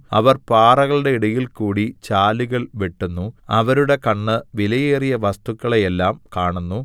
അവർ പാറകളുടെ ഇടയിൽകൂടി ചാലുകൾ വെട്ടുന്നു അവരുടെ കണ്ണ് വിലയേറിയ വസ്തുക്കളെയെല്ലാം കാണുന്നു